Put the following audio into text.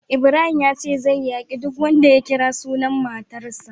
Ibrahim yace zai yaki duk wanda ya kira sunan matarsa.